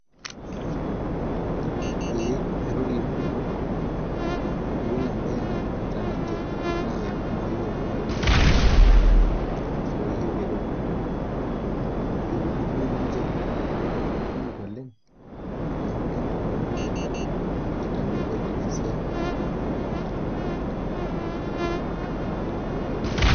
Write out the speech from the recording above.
Ee airorie ikumok , ore ebae naimarita ninche naa enkumoi ooltunganak, ooyieu eretoto, eidumia ninche iltunganak kumok oleng, neeku kenaura ninche oleng. kitambo epuo aidipa esiai.